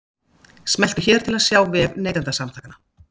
Smelltu hér til að sjá vef Neytendasamtakanna